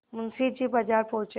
मुंशी जी बाजार पहुँचे